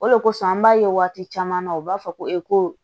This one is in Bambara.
O de kosɔn an b'a ye waati caman na u b'a fɔ ko ko